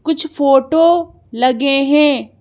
कुछ फोटो लगे हैं।